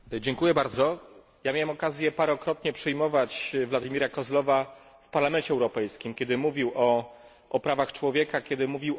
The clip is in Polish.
Miałem okazję wielokrotnie przyjmować Vladimira Kozlova w Parlamencie Europejskim, kiedy mówił o prawach człowieka oraz o potrzebie dialogu.